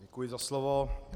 Děkuji za slovo.